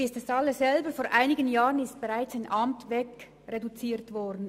Sie wissen alle, dass vor einigen Jahren bereits ein Sportamt wegreduziert wurde.